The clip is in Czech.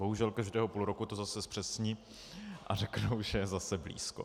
Bohužel každého půl roku to zase zpřesní a řeknou, že je zase blízko.